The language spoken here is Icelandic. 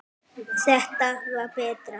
Þetta var betra.